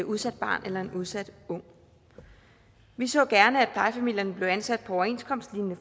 udsat barn eller en udsat ung vi så gerne at plejefamilierne blev ansat på overenskomstslignende